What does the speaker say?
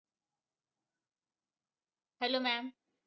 Hello maam